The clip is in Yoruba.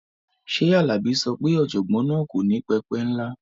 Ṣé Alabi sọ pé ọ̀jọ̀gbọ́n náà kò ní pẹpẹ ńlá?